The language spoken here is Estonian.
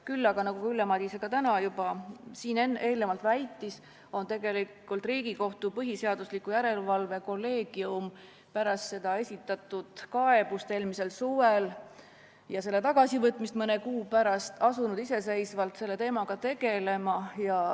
Küll aga, nagu Ülle Madise täna juba eelnevalt väitis, on Riigikohtu põhiseaduslikkuse järelevalve kolleegium pärast eelmisel suvel esitatud kaebust ja selle tagasivõtmist mõne kuu pärast asunud iseseisvalt selle teemaga tegelema.